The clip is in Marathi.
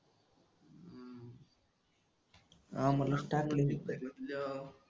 आमला स्टॅमिना विकत येते तुझ्या.